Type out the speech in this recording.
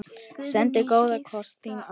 Sendi góðan koss, þín Ástdís.